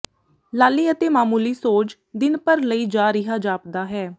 ਲਾਲੀ ਅਤੇ ਮਾਮੂਲੀ ਸੋਜ ਦਿਨ ਭਰ ਲਈ ਜਾ ਰਿਹਾ ਜਾਪਦਾ ਹੈ